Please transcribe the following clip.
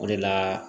O de la